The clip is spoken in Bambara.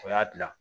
O y'a dilan